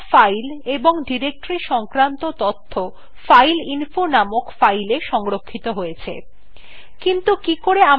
এখন সমস্ত files এবং ডিরেক্টরী সংক্রান্ত তথ্য files fileinfo named filesএ সংরক্ষিত হয়েছে